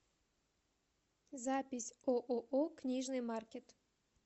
запись ооо книжный маркет